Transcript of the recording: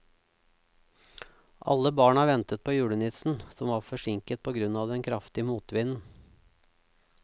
Alle barna ventet på julenissen, som var forsinket på grunn av den kraftige motvinden.